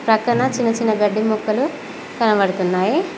పక్కన చిన్న చిన్న గడ్డి మొక్కలు కనబడుతున్నాయి.